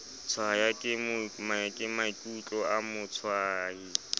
tshwaya ke maikutlo a motshwayi